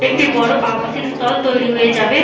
একটি বড় আবাসিক স্তল তৈরি হয়ে যাবে।